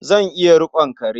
Zan iya riƙon kare.